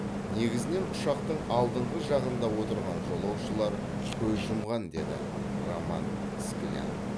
негізінен ұшақтың алдыңғы жағында отырған жолаушылар көз жұмған деді роман скляр